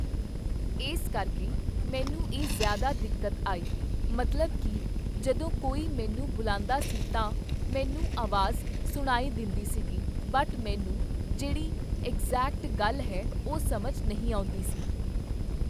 ਇਸ ਕਰਕੇ ਮੈਨੂੰ ਇਹ ਜ਼ਿਆਦਾ ਦਿੱਕਤ ਆਈ, ਮਤਲਬ ਕਿ ਜਦੋਂ ਕੋਈ ਮੈਨੂੰ ਬੋਲਦਾ ਸੀ ਤਾਂ ਮੈਨੂੰ ਆਵਾਜ਼ ਸੁਣਾਈ ਦਿੰਦੀ ਸੀਗੀ ਬਟ ਮੈਨੂੰ ਜਿਹੜੀ ਐਗਜ਼ੈਕਟ ਗੱਲ ਹੈ ਉਹ ਸਮਝ ਨਹੀਂ ਆਉਂਦੀ ਸੀ।